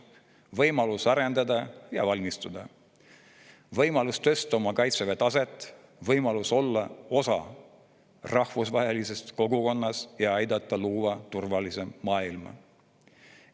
Võimalus areneda ja valmistuda, võimalus tõsta oma kaitseväe taset, võimalus olla osa rahvusvahelisest kogukonnast ja aidata luua turvalisemat maailma.